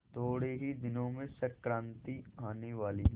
थोड़े ही दिनों में संक्रांति आने वाली है